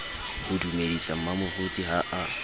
ho dumedisa mmamoruti ha a